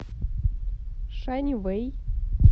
шаньвэй